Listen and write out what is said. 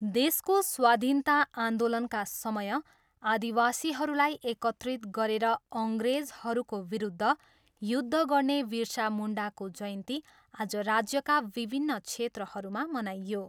देशको स्वाधीनता आन्दोलनका समय आदिवासीहरूलाई एकत्रित गरेर अङ्ग्रेजहरूको विरुद्ध युद्ध गर्ने विरसा मुन्डाको जयन्ती आज राज्यका विभिन्न क्षेत्रहरूमा मनाइयो।